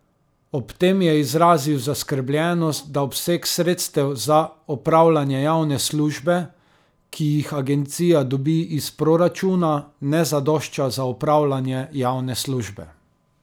Ob tem je izrazil zaskrbljenost, da obseg sredstev za opravljanje javne službe, ki jih agencija dobi iz proračuna, ne zadošča za opravljanje javne službe.